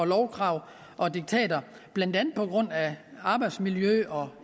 lovkrav og diktater blandt andet på grund af arbejdsmiljø og